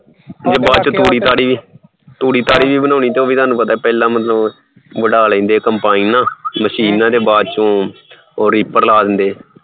ਤੂੜੀ ਤਾੜੀ ਵੀ ਬਣਾਉਣੀ ਉਹ ਵੀ ਤੁਹਾਨੂੰ ਪਤਾ ਪਹਿਲਾ ਵਡਾਕੇ combine machine ਨਾਲ ਤੇ ਬਾਅਦ ਚ ਉਹ ripper ਲਾ ਦੇਂਦੇ ਐ